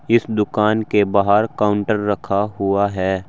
इस दुकान के बाहर काउंटर रखा हुआ है।